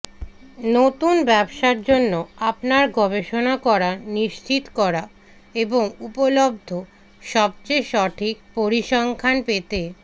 নতুন ব্যবসার জন্য আপনার গবেষণা করা নিশ্চিত করা এবং উপলব্ধ সবচেয়ে সঠিক পরিসংখ্যান পেতে